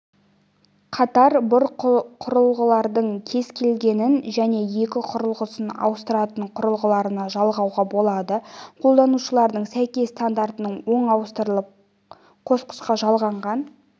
қатар бұл құрылғылардың кез келгенін және екі құрылғысын ауыстыратын құрылғыларына жалғауға болады қолданушылардың сәйкес стансалары оң ауыстырып-қосқышқа жалғанған